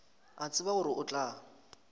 a tseba gore o tla